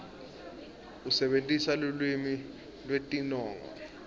usebentisa lulwimi lwetinongo